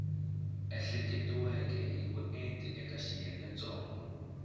ehleketiweke hi vuenti eka xiyengentsongo